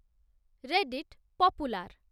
Reddit popular